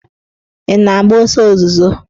Ị na m agba ọsọ ozuzo?